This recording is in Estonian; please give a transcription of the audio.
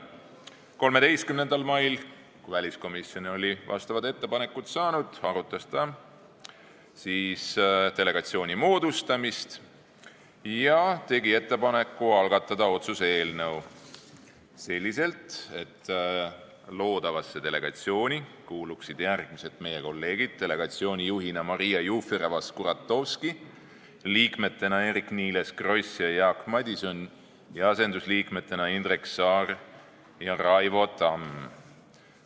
13. mail, kui väliskomisjon oli need ettepanekud saanud, arutas komisjon delegatsiooni moodustamist ja tegi ettepaneku algatada otsuse eelnõu selliselt, et loodavasse delegatsiooni kuuluksid meie järgmised kolleegid: delegatsiooni juhina Maria Jufereva-Skuratovski, liikmetena Eerik-Niiles Kross ja Jaak Madison ning asendusliikmetena Indrek Saar ja Raivo Tamm.